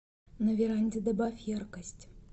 на веранде добавь яркость